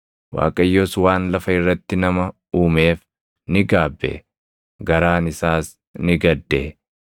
Waaqayyos waan lafa irratti nama uumeef ni gaabbe; garaan isaas ni gadde.